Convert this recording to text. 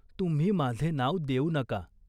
तुम्ही माझे नाव देऊ नका.